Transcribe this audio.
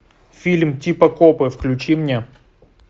фильм типа копы включи мне